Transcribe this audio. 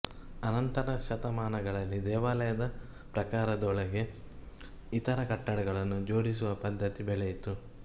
ಅನಂತದ ಶತಮಾನಗಳಲ್ಲಿ ದೇವಾಲಯದ ಪ್ರಾಕಾರದೊಳಗೆ ಇತರ ಕಟ್ಟಡಗಳನ್ನು ಜೋಡಿಸುವ ಪದ್ಧತಿ ಬೆಳೆಯಿತು